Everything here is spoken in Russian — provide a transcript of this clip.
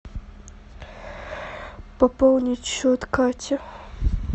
пополнить счет кате